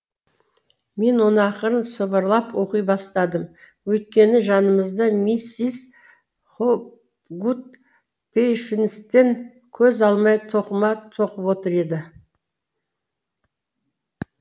мен оны ақырын сыбырлап оқи бастадым өйткені жанымызда миссис хопгуд пейшнстен көз алмай тоқыма тоқып отыр еді